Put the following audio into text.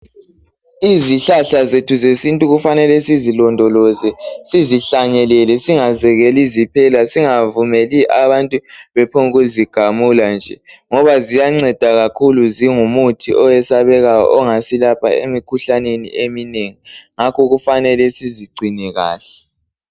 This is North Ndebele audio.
Izihlahla zethu zesintu kufanele sizilondoloze, sizihlanyelele, singazekeli ziphela, singavumeli abantu bephongkuzigamula nje. Ngoba ziyanceda kakhulu, zingumuthi oyesabekayo ongasilapha emikhuhlaneni eminengi. Ngakho, kufanele sizigcine kahle.